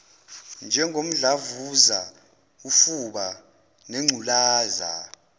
njengomdlavuza ufuba nengculaza